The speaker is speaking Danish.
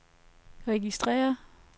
registrér